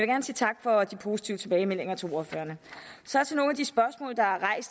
gerne sige tak for de positive tilbagemeldinger til ordførerne så